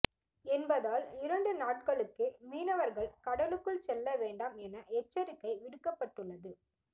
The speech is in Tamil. என்பதால் இரண்டு நாட்களுக்கு மீனவர்கள் கடலுக்கு செல்ல வேண்டாம் என எச்சரிக்கை விடுக்கப்பட்டுள்ளது